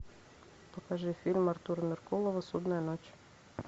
покажи фильм артура меркулова судная ночь